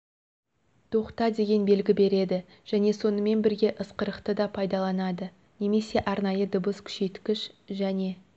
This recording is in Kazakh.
тоқта деген белгі береді және сонымен бірге ысқырықты да пайдаланады немесе арнайы дыбыс күшейткіш және